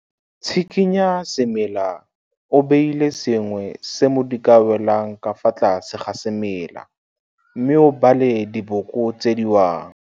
Tshikinya semela o beile sengwe se mo di ka welang ka fa tlase ga semela mme o bale diboko tse di wang.